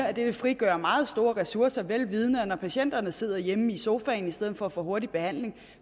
at det vil frigøre meget store ressourcer vel vidende at når patienterne sidder hjemme i sofaen i stedet for at få hurtig behandling